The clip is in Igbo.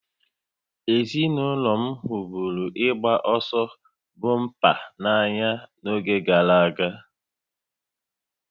Ezinụlọ m hụburu ịgba ọsọ bọmpa n'anya n'oge gara aga